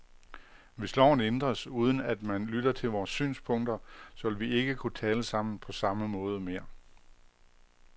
Hvis loven ændres, uden at man lytter til vores synspunkter, så vil vi ikke kunne tale sammen på samme måde mere.